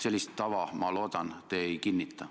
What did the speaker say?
Sellist tava, ma loodan, te ei kinnita.